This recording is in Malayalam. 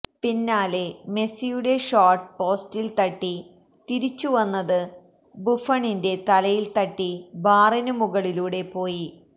പിന്നാലെ മെസ്സിയുടെ ഷോട്ട് പോസ്റ്റിൽ തട്ടി തിരിച്ചുവന്നത് ബുഫണിന്റെ തലയിൽ തട്ടി ബാറിനു മുകളിലൂടെ പോയി